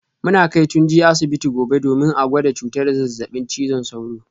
Muna kai Tunji asibiti gobe domin a gwada cutar zazzabin cizon sauro